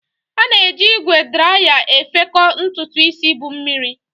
A na-eji ígwè draya efekọ ntutu isi bu mmiri.